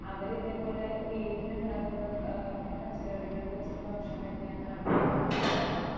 അവരിതേപോലെ വീട്ടിലുണ്ടാക്കുന്ന ഏഹ് പച്ചക്കറികൾ വെച്ചിട്ട് ഭക്ഷണം കഴിക്കാൻ ആഗ്രഹിക്കുന്ന ആൾക്കാരാണ്.